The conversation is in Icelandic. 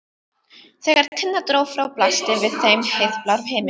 Þegar Tinna dró frá blasti við þeim heiðblár himinn.